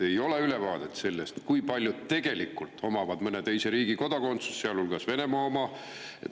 Ei ole ülevaadet sellest, kui paljud tegelikult omavad mõne teise riigi kodakondsust, sealhulgas Venemaa oma.